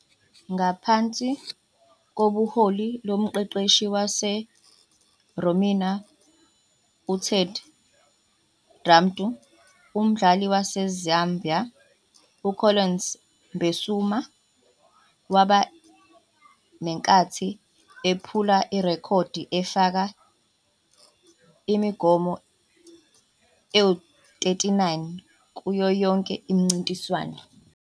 Ngaphansi kobuholi bomqeqeshi wase-Romania UTed Dumitru, umdlali waseZambia UCollins Mbesuma waba nenkathi ephula irekhodi efaka imigomo engu-39 kuyo yonke imincintiswano.